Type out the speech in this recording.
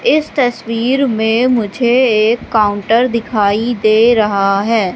इस तस्वीर में मुझे एक काउंटर दिखाई दे रहा है।